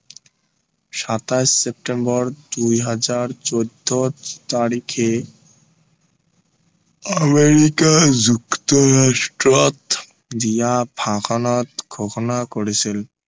সাতাইশ চেপ্তেম্বৰ দুই হাজাৰ চৈধ্য় তাৰিখে আমেৰিকা যুক্তৰাষ্ট্ৰত দিয়া ভাষণত ঘোষণা কৰিছিল